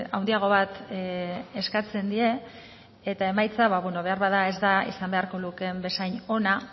handiago bat eskatzen die eta emaitza beharbada ez da izan beharko lukeen bezain ona